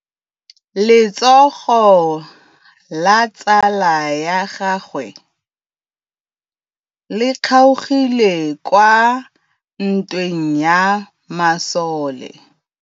Letsôgô la tsala ya gagwe le kgaogile kwa ntweng ya masole.